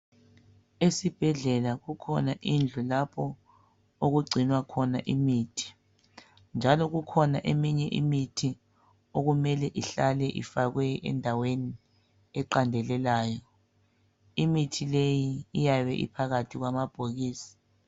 Esibhedlela kukhona indlu lapho okugcinwa khona imithi njalo kukhona eminye imithi okumele ihlale ifakwe endaweni eqandelelayo . Imithi leyi iyabe iphakathi kwamabhokisi.